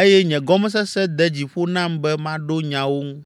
eye nye gɔmesese de dzi ƒo nam be maɖo nyawo ŋu.